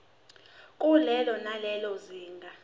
kulelo nalelo zinga